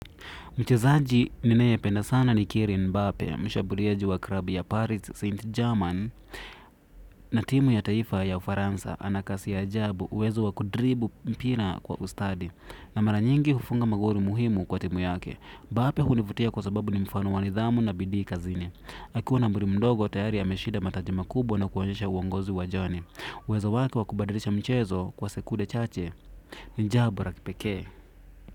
Mchezaji ninayependa sana ni Kylian mbape, mshambuliaji wa klabu ya Paris Saint German. Na timu ya kitaifa ya Ufaransa. Ana kasi ya ajabu, uwezo wa 'kudriblle' mpira kwa ustadi na mara nyingi hufunga magoli muhimu kwa timu yake. Mbape hunivutia kwa sababu ni mfano wa nidhamu na bidii kazini. Akiwa na umri mdogo tayari ameshida mataji makubwa na kuonyesha uongozi uwajani. Uwezo wake wa kubadilisha mchezo kwa sekude chache ni jambo la kipekee.